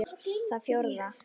Það fjórða